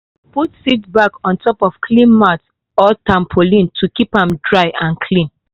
put seed bag on top clean mat or tarpaulin to keep am dry and clean.